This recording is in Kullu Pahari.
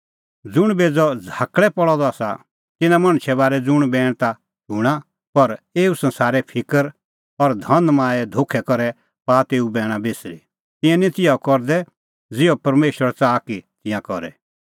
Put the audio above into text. ज़ुंण बेज़अ झ़ाकल़ै पल़अ सह आसा तिन्नां मणछे बारै ज़ुंण बैण ता शूणां पर एऊ संसारे फिकर और धनमाये धोखै करै पाआ तेऊ बैणा बिसरी तिंयां निं तिहअ करदै ज़िहअ परमेशर च़ाहा कि तिंयां करे